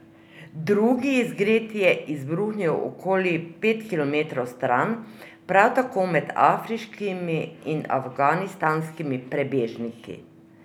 Drugi izgred je izbruhnil okoli pet kilometrov stran, prav tako med afriškimi in afganistanskimi prebežniki.